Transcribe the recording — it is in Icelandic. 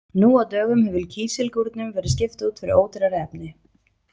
Nú á dögum hefur kísilgúrnum verið skipt út fyrir ódýrari efni.